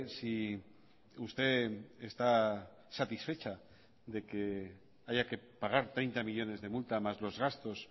si usted está satisfecha de que haya que pagar treinta millónes de multa más los gastos